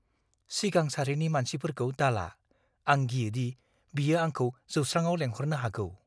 सिगां सारिनि मासिफोरखौ दाला। आं गियोदि बियो आंखौ जौस्राङाव लेंहरनो हागौ।